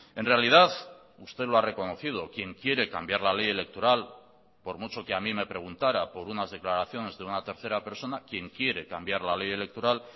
en realidad usted lo ha reconocido quien quiere cambiar la ley electoral por mucho que a mí me preguntara por unas declaraciones de una tercera persona quien quiere cambiar la ley electoral